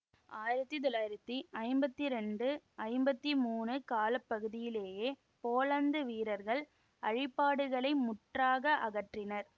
ஆயிரத்தி தொள்ளாயிரத்தி ஐம்பத்தி இரண்டு ஐம்பத்தி மூணு காலப்பகுதியிலேயே போலந்து வீரர்கள் அழிபாடுகளை முற்றாக அகற்றினர்